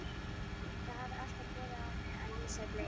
Þið hafið alltaf borið á mig að ég sé bleyða.